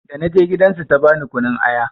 Da na je gidan su ta bani kunun aya.